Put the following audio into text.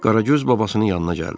Qaragöz babasının yanına gəldi.